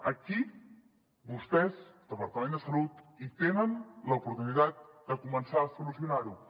aquí vostès departament de salut tenen l’oportunitat de començar a solucionar ho